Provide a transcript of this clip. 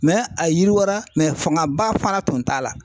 a yiriwara fangaba fana tun t'a la.